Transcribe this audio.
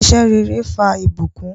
Iṣẹ̀ rẹ̀rẹ̀ fà ibùkún